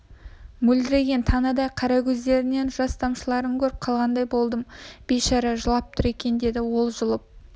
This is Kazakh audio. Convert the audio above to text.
мөлдіреген танадай қара көздерінен жас тамшыларын көріп қалғандай болдым бейшара жылап тұр екен деді ол жұлып